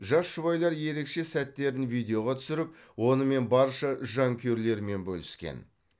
жас жұбайлар ерекше сәттерін видеоға түсіріп онымен барша жанкүйерлерімен бөліскен